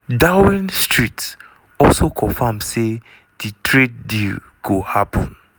downing street also confam say di trade deal go happun.